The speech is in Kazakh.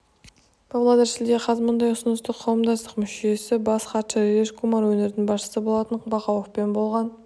павлодар шілде қаз мұндай ұсынысты қауымдастық мүшесі бас хатшы раджеш кумар өңір басшысы болат бақауовпен болған